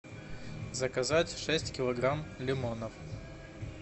заказать шесть килограмм лимонов